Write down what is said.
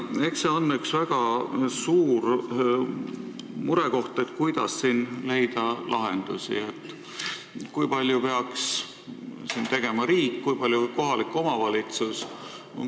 Eks see on üks väga suur murekoht, kuidas siin leida lahendusi, kui palju peaks tegema riik, kui palju kohalik omavalitsus jne.